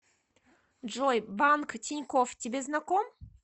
джой банк тинькофф тебе знаком